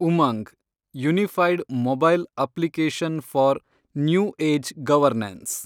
Umang – unified mobile application for new age governance